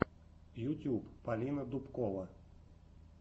ютюб полина дубкова